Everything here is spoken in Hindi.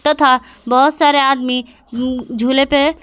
तथा बहुत सारे आदमी उ झूले पे--